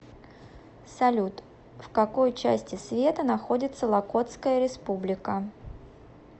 салют в какой части света находится локотская республика